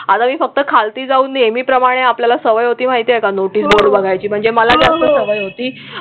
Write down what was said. आम्ही फक्त खालती जाऊन नेहमीप्रमाणे आपल्याला सवय होती, माहिती आहे का? नोटीस बघायची म्हणजे मला कॅप्टन हवी होती.